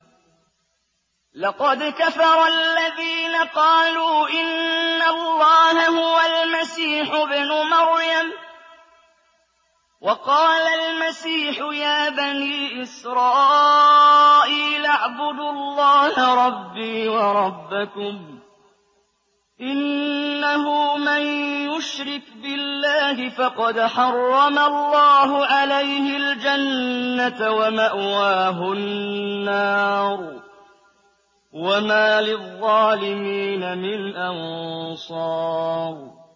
لَقَدْ كَفَرَ الَّذِينَ قَالُوا إِنَّ اللَّهَ هُوَ الْمَسِيحُ ابْنُ مَرْيَمَ ۖ وَقَالَ الْمَسِيحُ يَا بَنِي إِسْرَائِيلَ اعْبُدُوا اللَّهَ رَبِّي وَرَبَّكُمْ ۖ إِنَّهُ مَن يُشْرِكْ بِاللَّهِ فَقَدْ حَرَّمَ اللَّهُ عَلَيْهِ الْجَنَّةَ وَمَأْوَاهُ النَّارُ ۖ وَمَا لِلظَّالِمِينَ مِنْ أَنصَارٍ